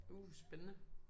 Uh spændende